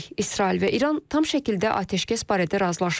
İsrail və İran tam şəkildə atəşkəs barədə razılaşıb.